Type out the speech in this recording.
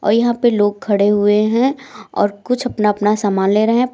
और यहां पे लोग खड़े हुए हैं और कुछ अपना अपना सामान ले रहे हैं।